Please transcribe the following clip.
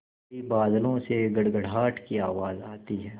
तभी बादलों से गड़गड़ाहट की आवाज़ आती है